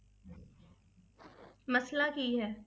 ਮਸਲਾ ਕੀ ਹੈ?